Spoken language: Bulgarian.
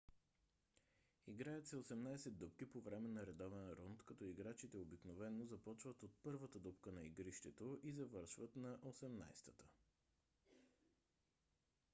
играят се осемнадесет дупки по време на редовен рунд като играчите обикновено започват от първата дупка на игрището и завършват на осемнадесетата